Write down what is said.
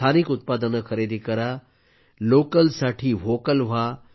स्थानिक उत्पादने खरेदी करा लोकल फॉर व्होकल व्हा